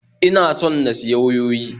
Ina son na siya wayoyi